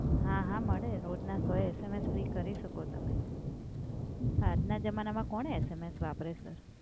હા હા મળે રોજના સો SMS ફ્રી કરી શકો તમે આજ ના જમાનામાં કોણ SMS વાપરે સર?